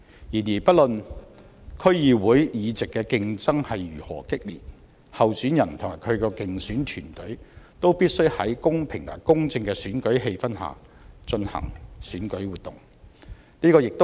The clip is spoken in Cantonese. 然而，不論區議會議席的競爭如何激烈，候選人及其競選團隊都必須在公平和公正的選舉氣氛下進行選舉活動。